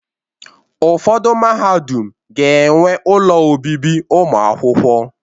Ụfọdụ mahadum ga-enwe ụlọ obibi ụmụakwụkwọ